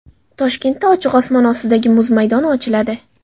Toshkentda ochiq osmon ostidagi muz maydoni ochiladi.